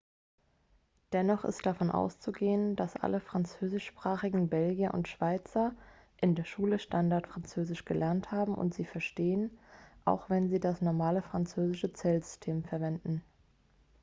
dennoch ist davon auszugehen dass alle französischsprachigen belgier und schweizer in der schule standardfranzösisch gelernt haben und sie verstehen auch wenn sie das normale französische zählsystem verwenden